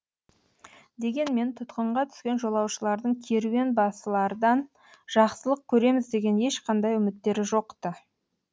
дегенмен тұтқынға түскен жолаушылардың керуен басылардан жақсылық көреміз деген ешқандай үміттері жоқ ты